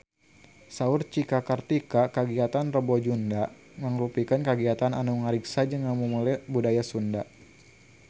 Saur Cika Kartika kagiatan Rebo Nyunda mangrupikeun kagiatan anu ngariksa jeung ngamumule budaya Sunda